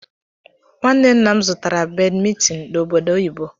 Nwanne nnam zụtara badmintin n'obodo oyibo.